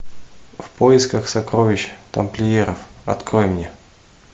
в поисках сокровищ тамплиеров открой мне